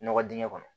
Nɔgɔ dingɛ kɔnɔ